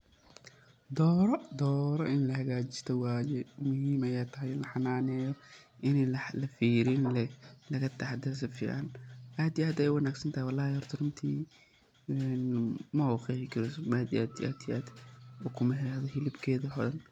Doroo, dooro in lahagajisto waye, muhim ayey tahay in laxananeyo, in lafiriyo lagataxadaro sifican aad iyo aad ayey uwanagsantahay wlhi horta, runti mabaqexi karo aad iyo aad ukumaheda, hilibkeda waxo dhaan.